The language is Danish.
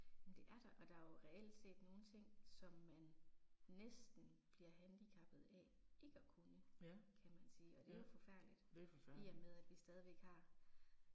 Men det er der, og der er jo reelt set nogle ting som man næsten bliver handicappet af ikke at kunne, kan man sige, og det er jo forfærdeligt, i og med at vi stadig har